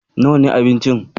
Nawa ne abincin?